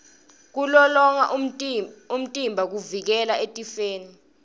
kulolonga umtimba kuvikela etifeni